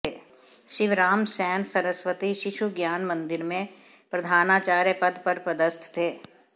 शिवराम सेन सरस्वती शिशु ज्ञान मंदिर में प्रधानाचार्य पद पर पदस्थ थे